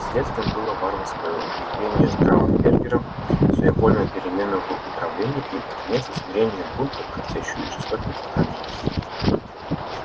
следствием было варварское убиение траубенберга своевольная перемена в управлении и наконец усмирение бунта картечью и жестокими наказаниями